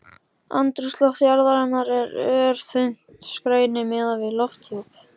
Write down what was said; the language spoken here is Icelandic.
Andrúmsloft jarðarinnar er örþunnt skæni miðað við lofthjúp